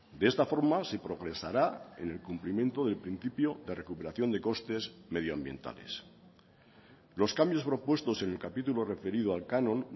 de esta forma se progresará en el cumplimiento del principio de recuperación de costes medioambientales los cambios propuestos en el capítulo referido al canon